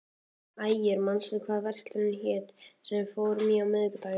Ægir, manstu hvað verslunin hét sem við fórum í á miðvikudaginn?